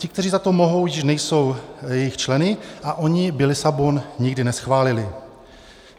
Ti, kteří za to mohou, již nejsou jejími členy a oni by Lisabon nikdy neschválili.